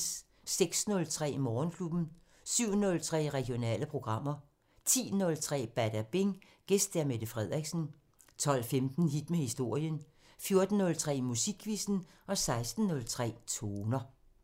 06:03: Morgenklubben 07:03: Regionale programmer 10:03: Badabing: Gæst Mette Frederiksen 12:15: Hit med historien 14:03: Musikquizzen 16:03: Toner